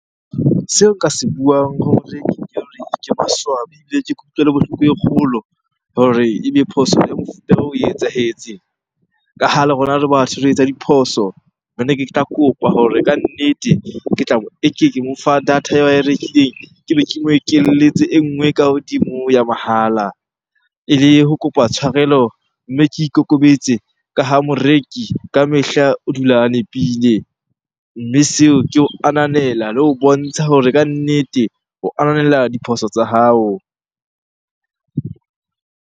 Seo nka se buang hore maswabi ebile ke kutlwelo bohloko e kgolo hore ebe phoso ya mofuta oo e etsahetse. Ka ha le rona re batho re etsa diphoso. Ne ke tla kopa hore kannete ke tla mo ke mo fa data eo ae rekileng, ke be ke mo ekelletse e nngwe ka hodimo ho ya mohala. Ele ho kopa tshwarelo, mme ke ikokobetse ka ha moreki ka mehla o dula a nepile. Mme seo ke ho ananela le ho bontsha hore kannete ho ananela diphoso tsa hao.